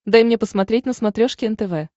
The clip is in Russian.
дай мне посмотреть на смотрешке нтв